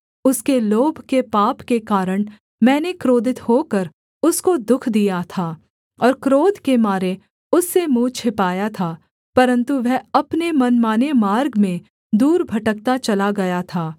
उसके लोभ के पाप के कारण मैंने क्रोधित होकर उसको दुःख दिया था और क्रोध के मारे उससे मुँह छिपाया था परन्तु वह अपने मनमाने मार्ग में दूर भटकता चला गया था